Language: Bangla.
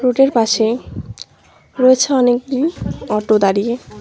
রোড এর পাশে রয়েছে অনেকগুলি অটো দাঁড়িয়ে।